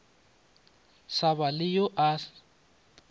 sa ba le yo a